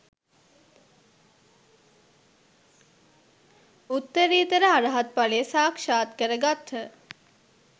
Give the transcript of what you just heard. උත්තරීතර අරහත්ඵලය සාක්‍ෂාත් කරගත්හ